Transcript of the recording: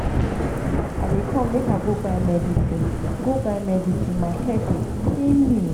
i dey come make i go buy medicine go buy medicine my head dey pain me